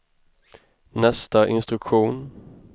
nästa instruktion